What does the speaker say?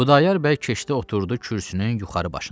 Xudayar bəy keçdi oturdu kürsünün yuxarı başından.